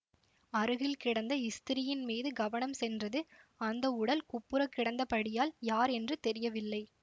அருகில் கிடந்த ஸ்திரீயின் மீது கவனம் சென்றது அந்த உடல் குப்புறக்கிடந்தபடியால் யார் என்று தெரியவில்லை